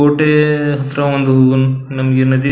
ಕೋಟೆ ಹತ್ರ ಒಂದು ಒಂದು ನದಿ ನಮಗೆ ನದಿ --